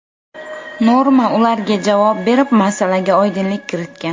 Norma ularga javob berib, masalaga oydinlik kiritgan .